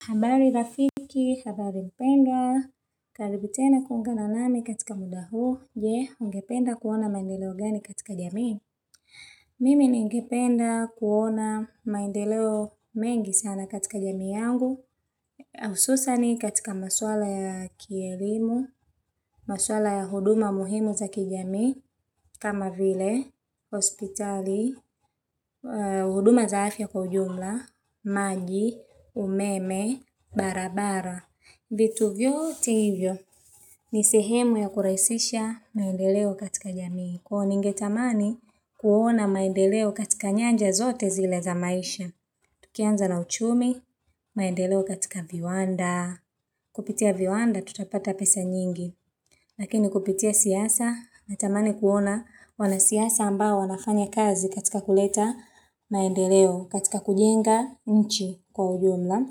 Habari rafiki, habari mpendwa, karibu tena kuungana nami katika muda huu, je ungependa kuona maendeleo gani katika jamii. Mimi ningependa kuona maendeleo mengi sana katika jamii yangu, hususani katika maswala ya kielimu, maswala ya huduma muhimu za kijami, kamavile, hospitali, huduma za afya kwa ujumla, maji, umeme, barabara. Vitu vyote hivyo, ni sehemu ya kurahisisha maendeleo katika jamii. Kwa huo ningetamani kuona maendeleo katika nyanja zote zile za maisha. Tukianza na uchumi, maendeleo katika viwanda. Kupitia viwanda, tutapata pesa nyingi. Lakini kupitia siasa, na tamani kuona wanasiasa ambayo wana fanya kazi katika kuleta maendeleo, katika kujenga nchi kwa ujumla.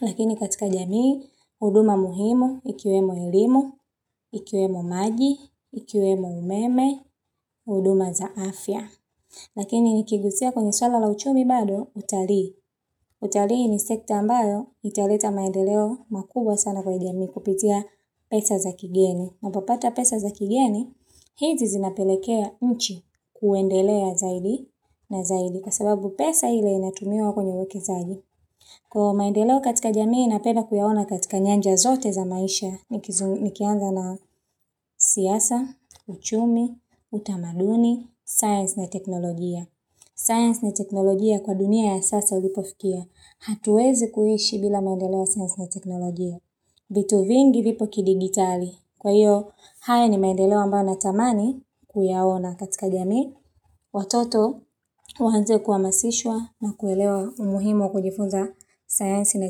Lakini katika jamii, huduma muhimu, ikiwemo elimu, ikiwemo maji, ikiwemo umeme, huduma za afya. Lakini nikiguzia kwenye suala la uchumi bado utalii. Utalii ni sekta ambayo italeta maendeleo makubwa sana kwa jamii kupitia pesa za kigeni. Unapopata pesa za kigeni, hizi zinapelekea nchi kuendelea zaidi na zaidi. Kwa sababu pesa ile inatumiwa kwenye uwekezaji. Kwa maendeleo katika jamii, napeda kuyaona katika nyanja zote za maisha. Nikianza na siasa, uchumi, utamaduni, science na teknologia. Science na teknologia kwa dunia ya sasa ulipofikia. Hatuwezi kuishi bila maendeleo ya science na teknologia. Vitu vingi vipo kidigitali kwa hiyo haya ni maendeleo ambayo na tamani kuyaona katika jamii. Watoto waanze kuhamasishwa na kulelewa umuhimu kujifunza science na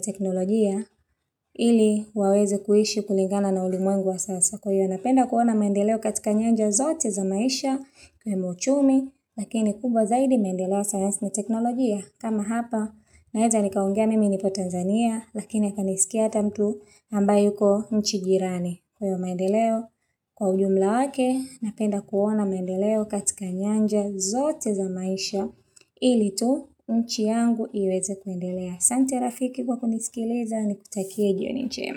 teknologia. Ili waweze kuishi kulingana na ulimwengu wa sasa kwa hiyo. Napenda kuona maendeleo katika nyanja zote za maisha. Ikiwemo uchumi, lakini kubwa zaidi maendeleo ya science na teknologia kama hapa. Naeza ni kaongea mimi nipo Tanzania, lakini kanisikia ata mtu ambaye yuko nchi jirani kwa hiyo maendeleo. Kwa ujumla wake, napenda kuona mandeleo katika nyanja zote za maisha. Ili tu nchi yangu iweze kuendelea. Asante rafiki kwa kunisikiliza ni kutakie jioni jema.